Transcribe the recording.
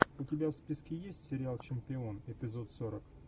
у тебя в списке есть сериал чемпион эпизод сорок